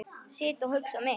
Sit og hugsa mitt.